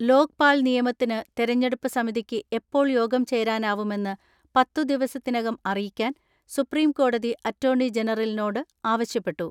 ലോക്പാൽ നിയമനത്തിന് തെരഞ്ഞെടുപ്പ് സമിതിക്ക് എപ്പോൾ യോഗം ചേരാനാവുമെന്ന് പത്തു ദിവസത്തിനകം അറിയിക്കാൻ സുപ്രീംകോടതി അറ്റോർണി ജനറലിനോട് ആവശ്യപ്പെട്ടു.